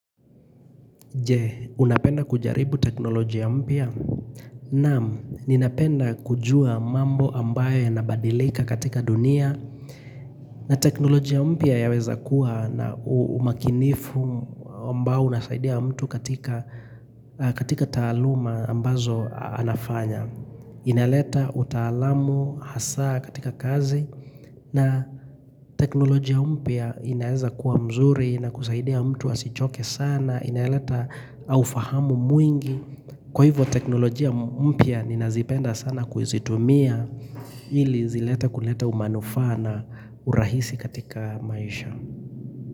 Je, unapenda kujaribu teknolojia mpya? Naam, ninapenda kujua mambo ambayo ya nabadilika katika dunia na teknolojia mpya ya weza kuwa na umakinifu ambao unasaidia mtu katika taaluma ambazo anafanya inaleta utaalamu hasaa katika kazi na teknolojia mpya inaeza kuwa mzuri na kusaidia mtu asichoke sana inaleta ufahamu mwingi. Kwa hivyo teknolojia mpya ninazipenda sana kuzitumia ili zilete kuleta umanufaa na urahisi katika maisha.